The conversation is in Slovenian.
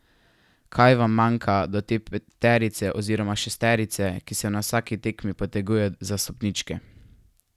Kaj vam manjka do te peterice oziroma šesterice, ki se na vsaki tekmi poteguje za stopničke?